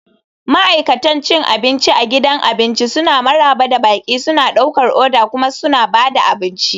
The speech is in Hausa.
Ma'aikatan cin abinci a gidan abinci suna maraba da baƙi, suna ɗaukar oda kuma suna ba da abinci.